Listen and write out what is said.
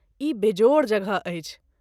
ई बेजोड़ जगह अछि।